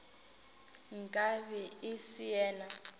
nka be e se yena